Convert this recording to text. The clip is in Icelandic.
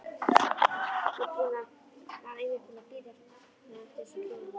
Var einmitt búinn að vera að bíða eftir þessum hjónum.